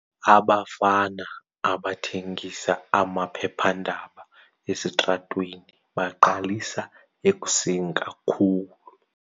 Abafana abathengisa amaphephandaba esitratweni baqalisa ekuseni kakhulu.